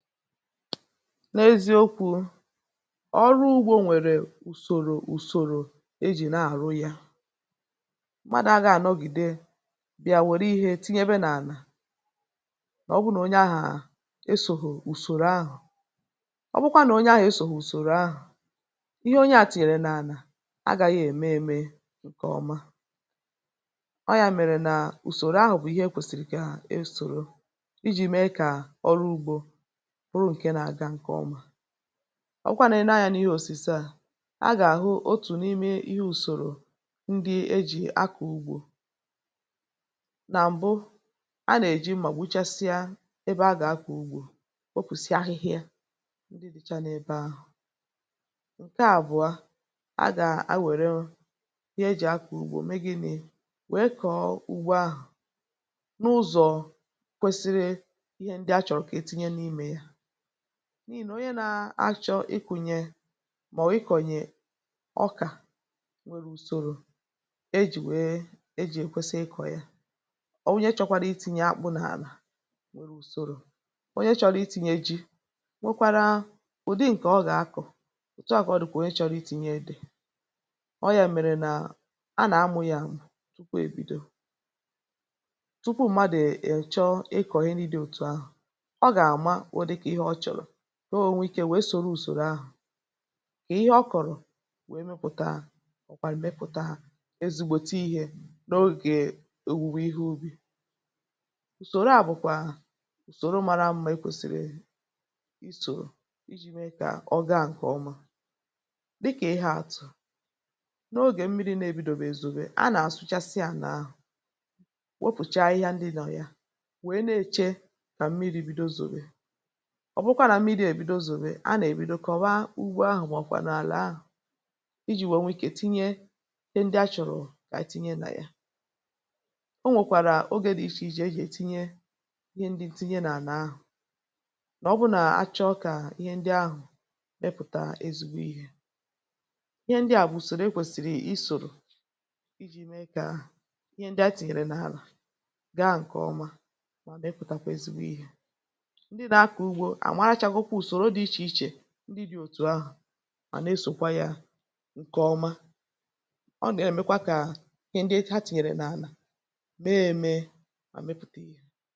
n’eziokwu̇ um ọrụ ugbȯ nwèrè ùsòrò ùsòrò ejì nà-àrụ um yȧ mmadụ̇ agȧghị̇ nọgìde bị̀a wèrè ihe tinyebe n’àlà ọ bụrụ nà onye ahụ̀ à esòhù ùsòrò ahụ̀ ọ bụkwa nà onye ahụ̀ esòhù ùsòrò ahụ̀ ihe onye à tìnyèrè n’ànà agȧghị̇ ème eme ǹkẹ̀ ọma um ọ yȧ mèrè nà ùsòrò ahụ̀ bụ̀ ihe e kwèsìrì kà esòro ijì mee kà ọrụ ugbȯ ọ bụ̀kwànụ̀ e nee anyȧ n’ihe òsùse à a gà-àhụ otù n’ime ihe ùsòrò ndị ejì akọ̀ ugbȯ nà m̀bụ a nà-èji m̀mà gbuchasịa ebe a gà-akọ̀ ugbȯ okwụ̀sị ahịhịȧ ndị dịcha n’ebe ahụ̀ ǹke àbụ̀ọ a gà a wère ihe ejì akọ̀ ugbȯ mee gị̇ nà wèe kọọ ugbo ahụ̀ n’ụzọ̀ kwesiri ihe ndị a chọ̀rọ̀ kà itinye n’imė n’ihì nà onye nȧ-ȧchọ̇ ikùnyè màọ̀wụ̀ ikọ̀nyè ọkà nwere ùsòrò ejì nwèe ejì èkwesi ikọ̇ ya ọ̀ wunye chọkwara iti̇nyė akpụ̇ n’àlà nwere ùsòrò onye chọrọ iti̇nyė eji nwekwara ụ̀dị ǹkè ọ gà-akọ̀ òtu à kà ọ dị̀kwà onye chọrọ iti̇nyė edè ọ yà mèrè nà a nà-amụ̇ yȧ tupu ebido tupu ụ̀madụ̇ èchọ ikọ̀ ihe nri dị̇ òtù ahụ̀ nọ ònwe ikė nwèe sòrò ùsòrò ahụ̀ kà ihe ọ kọ̀rọ̀ wèe mepụ̀ta ọ̀kwàrị̀ mee pụ̀ta ezigbote ihė n’ogè òwùwè ihe ubì ùsòrò à bụ̀kwà ùsòrò mara mmȧ e kwèsìrì isò iji̇ mee kà ọ gaa ǹkè ọma um dịkà ihė àtụ̀ n’ogè mmiri̇ na-ebidòbì èzùbe a nà-àsụchasịa n’ahụ̀ wopùcha ihe ndị nọ̀ ya wèe na-èche kà mmiri̇ bido zòbè ọ̀ bụkwa nà mmiri̇ èbido zòbe a nà-èbido kọ̀wa ugbo ahụ̀ mà ọ̀ kwà n’àlà ahụ̀ iji̇ nwèe nwee ikė tinye ndị a chọ̀rọ̀ kà tinye nà ya o nwèkwàrà ogė dị ichė ijì ejì ètinye ihe ndị tinye nà-àlà ahụ̀ nà ọ bụrụ nà a chọọ kà ihe ndị ahụ̀ mepụ̀ta ezigbo ihė ihe ndịà bụ̀ soro ekwèsìrì i sòrò iji̇ mee kà ihe ndị a tìnyèrè n’àlà gaa ǹkè ọma um mà nà-ekwùtàkwa ezigbo ihė ndị dị̇ òtù ahụ̀ mà nà esòkwà yȧ ǹkè ọma ọ nà-èmekwa kà ndị ha tìnyèrè n’ànà mee mee mà mepùtèghị.